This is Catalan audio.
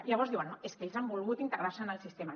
i llavors diuen no és que ells han volgut integrar se en el sistema